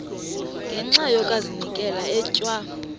ngenxa yokazinikela etywa